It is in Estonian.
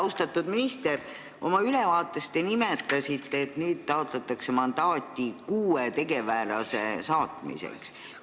Austatud minister, te nimetasite oma ülevaates, et nüüd taotletakse mandaati kuue tegevväelase missioonile saatmiseks.